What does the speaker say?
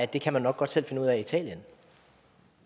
det her var så